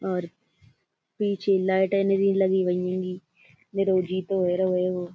और पीछे लाइटें निरि लगी भई हेंगी।